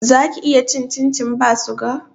Zaki iya cin cincin ba suga